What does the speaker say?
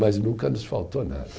Mas nunca nos faltou nada.